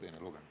Aitäh!